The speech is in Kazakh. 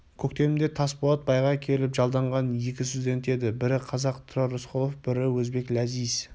көктемде тасболат байға келіп жалданған екі студент еді бірі қазақ тұрар рысқұлов бірі өзбек ләзиз